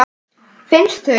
Finnst þau eitt.